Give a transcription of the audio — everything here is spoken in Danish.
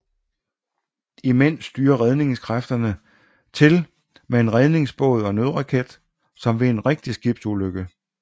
Imens styrter redningskræfterne til med en redningsbåd og nødraket som ved en rigtig skibsulykke